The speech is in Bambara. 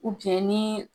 ni